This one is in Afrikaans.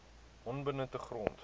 onbenutte grond